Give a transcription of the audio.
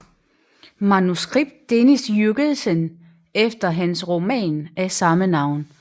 Manuskript Dennis Jürgensen efter hans roman af samme navn